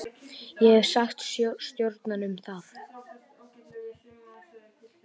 Ég hef sagt stjóranum það.